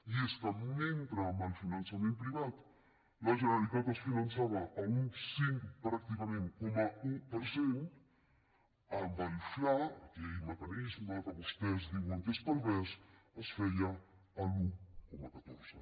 i és que mentre amb el finançament privat la generalitat es finançava a un cinc pràcticament coma un per cent amb el fla aquell mecanisme que vostès diuen que és pervers es feia l’un coma catorze